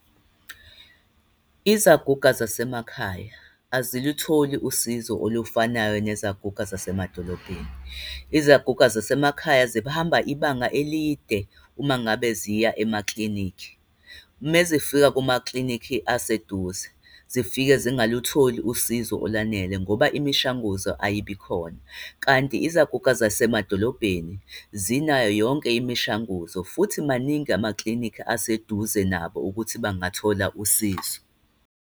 Izaguga zasemakhaya azilutholi usizo olufanayo nezaguga zasemadolobheni. Izaguga zasemakhaya zihamba ibanga elide uma ngabe ziya emaklinikhi. Mazifika kumakliniki aseduze ziifike zingalutholi usizo olwanele ngoba imishanguzo ayibi khona. Kanti izaguga zasemadolobheni, zinayo yonke imishanguzo, futhi maningi amaklinikhi aseduze nabo ukuthi bangathola usizo.